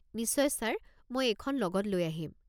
নিশ্চয় ছাৰ। মই এইখন লগত লৈ আহিম।